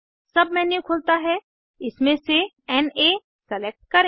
submenu खुलता है इसमें से ना सेलेक्ट करें